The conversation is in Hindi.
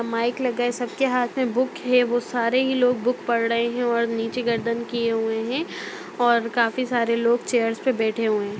माइक लगा है सबके हाथ में बुक है वह सारे ही लोग बुक पढ़ रहे हैं और नीचे गर्दन किए हुए हैं और काफी सारे लोग चेयर्स पे बैठे हुए हैं।